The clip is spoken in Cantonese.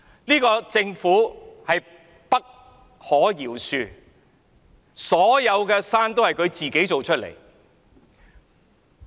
這個政府不可饒恕，所有的山也是自己一手造成的。